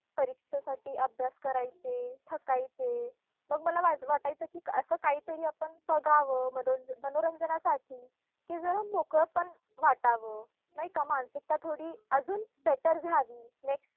परीक्षेसाठी अभ्यास करायचे, थकायचे. मग मला वाट वाटायचे की असं काहीतरी आपण बघावं मनोरन मनोरंजनासाठी की जरा मोकळंपण वाटावं, नाही का? मानसिकता थोडी अजून better झाली next.